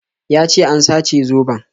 Ya ce an sace zoben